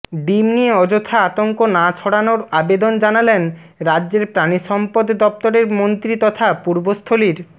ডিম নিয়ে অযথা আতঙ্ক না ছাড়ানোর আবেদন জানালেন রাজ্যের প্রাণিসম্পদ দফতরের মন্ত্রী তথা পূর্বস্থলীর